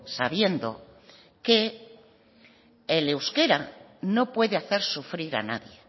sabiendo que el euskera no puede hacer sufrir a nadie